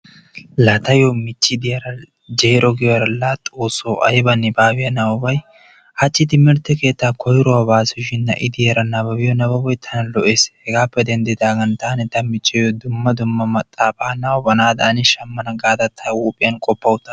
laa taayo michee diyara laa jeero giyoora laa xooso ayba nibaabiya nababay hachi timirte bkeettaa koyruwa baasu shin na'i diyaara nababbiyara bnababbiyo nababboy tana lo'ees, shin hegaappe denddidaagan taani ta michchiyo dumma dumma maxaafa nababanaadan shamana gaada ta huuphiyan qoppa uttaas.